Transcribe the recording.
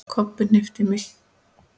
Kobbi hnippti í